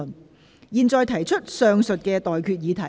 我現在向各位提出上述待決議題。